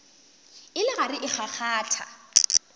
e le gare e kgakgatha